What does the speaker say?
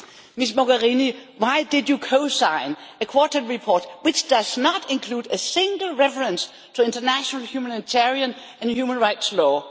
Ms Mogherini, why did you co sign a quarterly report which does not include a single reference to international humanitarian and human rights law?